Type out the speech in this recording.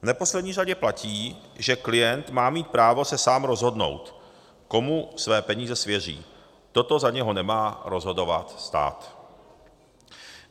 V neposlední řadě platí, že klient má mít právo se sám rozhodnout, komu své peníze svěří, toto za něho nemá rozhodovat stát.